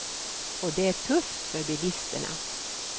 Och det är tufft för bilisterna.